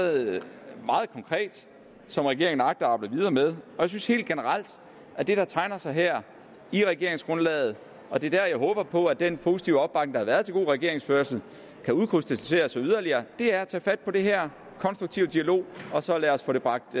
meget konkret som regeringen agter at arbejde videre med jeg synes helt generelt at det der tegner sig her i regeringsgrundlaget og det er der jeg håber på at den positive opbakning der har været til god regeringsførelse kan udkrystallisere sig yderligere er at tage fat på det her i konstruktiv dialog og så få det bragt